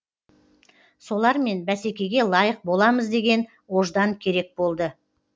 солармен бәсекеге лайық боламыз деген ождан керек болды